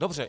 Dobře.